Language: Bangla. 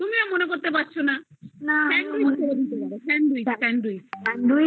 তুমিও মনে করছে পারছো না আরে sandwich sandwich